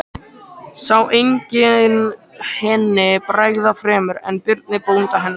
Sá enginn henni bregða fremur en Birni bónda hennar.